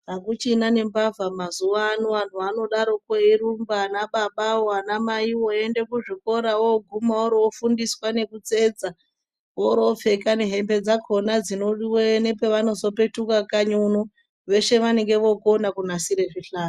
Akuchina nembavha mazuva ano antu anodaro poo eirumba ana baba woo ana mai woo eiende kuzvikora ogumarwo ofundiswa nokutsetsa orwo pfeka nehembe dzakona dzino diweyo paanozo petuka kanyi uno, vese vanenge vokona kunasire zvihlayo.